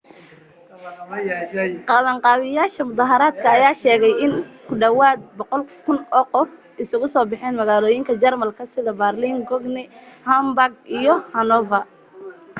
qabanqaabiyayaasha mudahaaradka ayaa sheegay inay ku dhawaad 100,000 oo qof isugu soo baxeen magaalooyinka jarmalka sida baaliin cologne hamburg iyo hanover